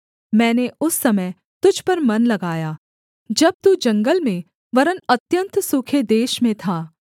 मैंने उस समय तुझ पर मन लगाया जब तू जंगल में वरन् अत्यन्त सूखे देश में था